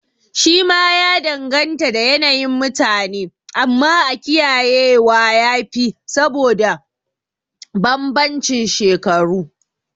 Shi ma ya danganta da yanayin mutane, amma a kiyaye wa yafi saboda banbancin shekaru